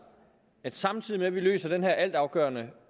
at vi samtidig med at vi løser den her altafgørende